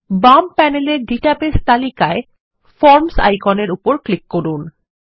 বাম প্যানেলের ডাটাবেস তালিকায় ফর্মস আইকনের উপর ক্লিক করুন